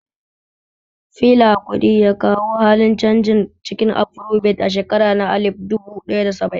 Fela Kuti ya kawo halin canji cikin Afarobit a shekara na alif duba ɗaya da saba'in